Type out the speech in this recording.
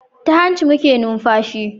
Ta hanci muke numfashi